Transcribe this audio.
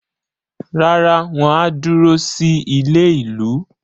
Rárá, wọ́n á dúró sí ilé-ìlú.